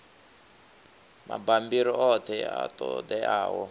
mabammbiri oṱhe a ṱo ḓeaho